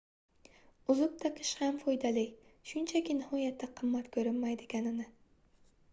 uzuk taqish ham foydali shunchaki nihoyatda qimmat ko'rinmaydiganini